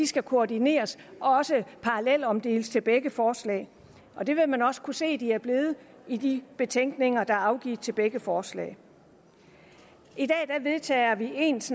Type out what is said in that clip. skal koordineres og også parallelomdeles til begge forslag og det vil man også kunne se at de er blevet i de betænkninger der er afgivet til begge forslag i dag vedtager vi ens